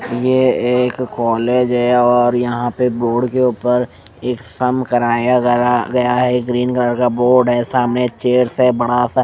ये एक कॉलेज है और यहाँ पे बोर्ड के ऊपर एक सम कराया गया है एक ग्रीन कलर का बोर्ड है सामने एक चेयर है बड़ा सा--